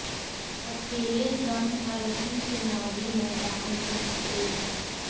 अकेले दम पर ही चुनावी मैदान में उतरेगी